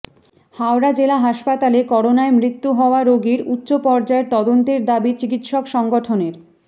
হাওড়া জেলা হাসপাতালে করোনায় মৃত্যু হওয়া রোগীর উচ্চ পর্যায়ের তদন্তের দাবি চিকিৎসক সংগঠনের